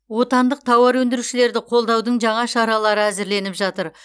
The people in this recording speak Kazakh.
отандық тауар өндірушілерді қолдаудың жаңа шаралары әзірленіп жатыр